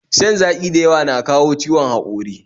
Shan zaƙi da yawa na kawo ciwon haƙori